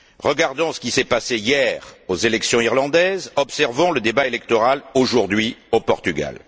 Regardons ce qui s'est passé hier aux élections irlandaises, observons le débat électoral aujourd'hui, au Portugal.